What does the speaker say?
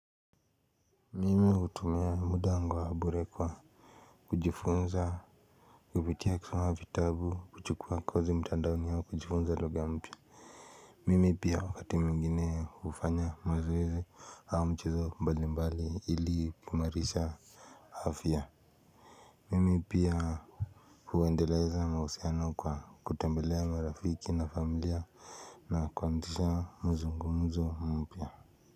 Mimi hutumia muda wangu wa bure kwa kujifunza kupitia kusoma vitabu kuchukua kozi mtandaoni au kujifunza lugha mpya mimi pia wakati mwingine hufanya mazoezi au mchezo mbali mbali ili kuimarisha afya mimi pia huendeleza mahusiano kwa kutembelea marafiki na familia na kuanzisha mzungumuzo mpya.